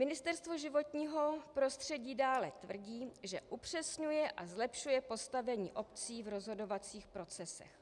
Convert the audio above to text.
Ministerstvo životního prostředí dále tvrdí, že upřesňuje a zlepšuje postavení obcí v rozhodovacích procesech,